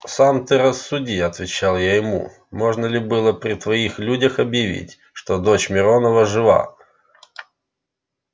сам ты рассуди отвечал я ему можно ли было при твоих людях объявить что дочь миронова жива